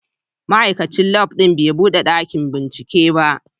Ma'aikacin Lab din bai bude dakin binciken ba.